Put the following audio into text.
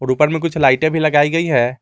ऊपर में कुछ लाइटें भी लगाई गई हैं।